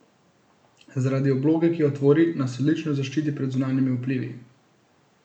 Zaradi obloge, ki jo tvori, nas odlično zaščiti pred zunanjimi vplivi.